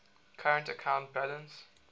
current account balance